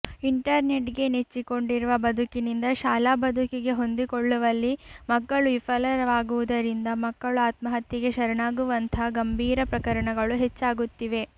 ಇಂಟರ್ನೆಟ್ಗೆ ನೆಚ್ಚಿಕೊಂಡಿರುವ ಬದುಕಿನಿಂದ ಶಾಲಾ ಬದುಕಿಗೆ ಹೊಂದಿಕೊಳ್ಳುವಲ್ಲಿ ಮಕ್ಕಳು ವಿಫಲವಾಗುವುದರಿಂದ ಮಕ್ಕಳು ಆತ್ಮಹತ್ಯೆಗೆ ಶರಣಾಗುವಂಥ ಗಂಭೀರ ಪ್ರಕರಣಗಳು ಹೆಚ್ಚಾಗುತ್ತಿವೆ